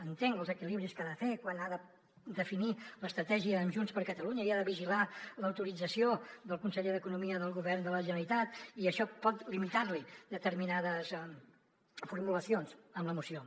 entenc els equilibris que ha de fer quan ha de definir l’estratègia amb junts per catalunya i ha de vigilar l’autorització del conseller d’economia del govern de la generalitat i això pot limitar li determinades formulacions en la moció